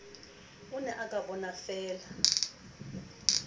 o ne o ka bonafeela